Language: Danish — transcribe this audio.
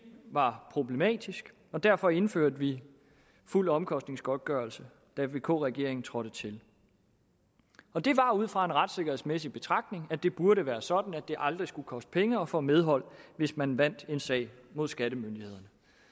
var problematisk og derfor indførte vi fuld omkostningsgodtgørelse da vk regeringen trådte til og det var ud fra den retssikkerhedsmæssige betragtning at det burde være sådan at det aldrig skulle koste penge at få medhold hvis man vandt en sag mod skattemyndighederne